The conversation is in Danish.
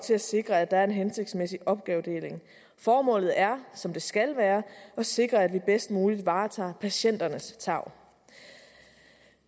til at sikre at der er en hensigtsmæssig opgavedeling formålet er som det skal være at sikre at vi bedst muligt varetager patienternes tarv